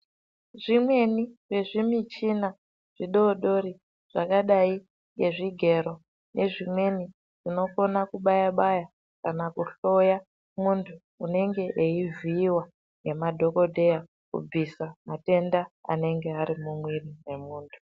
Zvimweni zvevzi muchina zvidodori zvakadai ngezvigero imweni zvinokona kubaya baya kana kuhloya muntu unenge weivhiiwa nemadhokodheya kubvisa matenda anenge arimo mumwiri wemuntu.